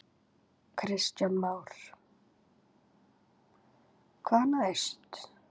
Kristján Már: Hvað næst?